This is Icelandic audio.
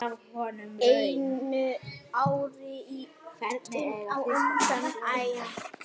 Einu ári á undan áætlun.